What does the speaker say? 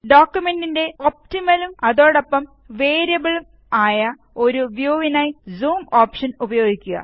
ഡോക്കുമെന്റിന്റെ optional ഉം അതോടൊപ്പംവേരിയബിള് ഉം ആയ ഒരു വ്യൂവിനായി സൂം ഓപ്ഷന് ഉപയോഗിക്കുക